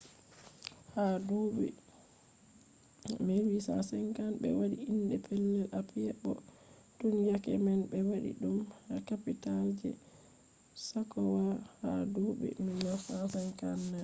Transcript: ha duuɓi 1850 ɓe waɗi inde pellel apiya bo tun yake man ɓe waɗi ɗum kapital je sakowa ha duɓi 1959